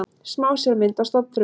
Smásjármynd af stofnfrumu.